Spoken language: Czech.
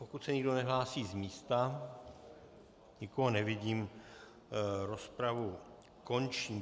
Pokud se nikdo nehlásí z místa, nikoho nevidím, rozpravu končím.